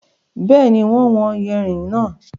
Bẹ́ẹ̀ni, wọ́n wọn yànrin náà.